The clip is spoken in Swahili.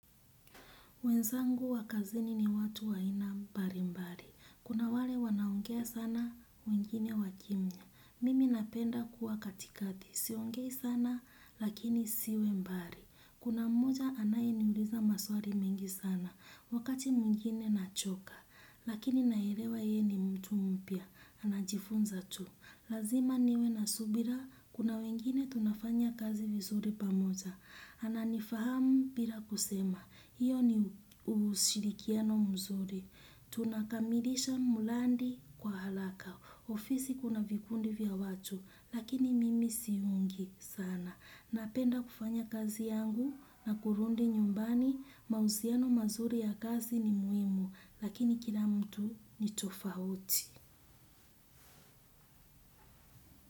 Wenzangu wa kazini ni watu wa aina mbalimbali. Kuna wale wanao ongea sana wengine wakimya. Mimi napenda kuwa katikati. Siongei sana lakini siwe mbali. Kuna mmoja anayeniuliza maswali mengi sana. Wakati mwingine nachoka. Lakini naelewa yeye ni mtu mpya. Anajifunza tu. Lazima niwe na subira, kuna wengine tunafanya kazi vizuri pamoja. Ananifahamu bila kusema, hiyo ni ushirikiano mzuri. Tunakamilisha mradi kwa haraka. Ofisi kuna vikundi vya watu, lakini mimi siungi sana. Napenda kufanya kazi yangu na kurudi nyumbani, mahusiano mazuri ya kazi ni muhimu, lakini kila mtu ni tofauti.